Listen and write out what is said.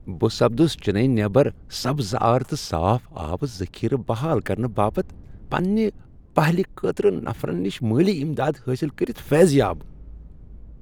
بہٕ سپدُس چنیی نیبر سبزار تہٕ صاف آبہٕ ذخیرٕ بحال کرنہٕ باپتھ پنٛنہ پہلہِ خٲطرٕ نفرن نش مٲلی امداد حٲصل کرتھ فیضیاب ۔